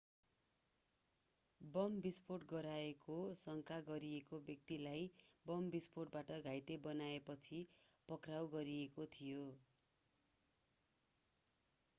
bomb विस्फोट गराएको शंका गरिएको व्यक्तिलाई बम विष्फोटबाट घाइते बनाएपछि पक्राउ गरिएको थियो